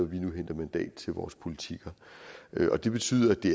vi nu henter mandat til vores politikker det betyder at det